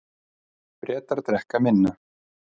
Bretar drekka minna